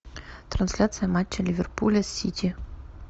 трансляция матча ливерпуля с сити